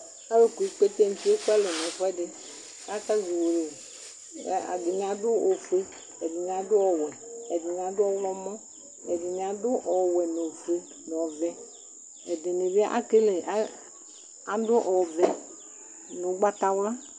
Alu kpuikpete nuti ekualɛ nɛfuɛdiKakazɔ uwolowu ku ɛdini adʋ ofueƐdini adʋ ɔwɛ Ɛdini ɔɣlɔmɔ Ɛdini adʋ ɔwɛ nofue, nɔvɛ Ɛdini bi ekele, adʋ ɔvɛ nugbatawla